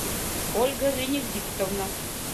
ольга венедиктовна